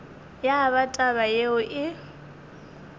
ya ba taba yeo e